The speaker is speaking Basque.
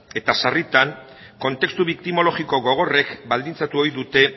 eta sarritan kontestu biktimologiko gogorrek baldintzatu ohi dute